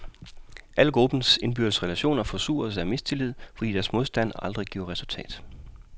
Alle gruppens indbyrdes relationer forsures af mistillid, fordi deres modstand aldrig giver resultat.